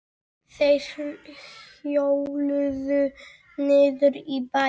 Þeir hjóluðu niður í bæinn.